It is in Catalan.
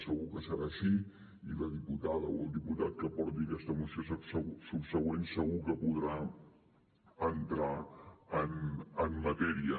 segur que serà així i la diputada o el diputat que porti aquesta moció subsegüent segur que podrà entrar en matèria